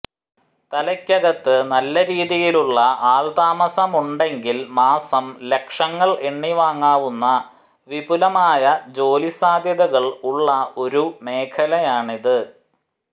തലയ്ക്കകത്ത് നല്ല രീതിയിലുള്ള ആൾത്താമസം ഉണ്ടെങ്കിൽ മാസം ലക്ഷങ്ങൾ എണ്ണി വാങ്ങാവുന്ന വിപുലമായ ജോലി സാധ്യതകൾ ഉള്ള ഒരു മേഖലയാണിത്